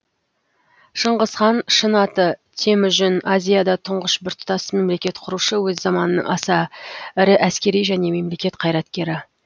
шыңғыс хан шын аты темүжін азияда тұңғыш біртұтас мемлекет құрушы өз заманының аса ірі әскери және мемлекет қайраткері